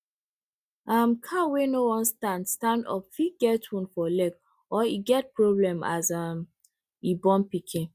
um cow wey no wan stand stand up fit get wound for leg or e get problem as um e born pikin